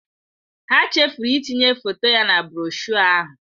Ha chefuru itinye foto ya na broshuọ ahụ.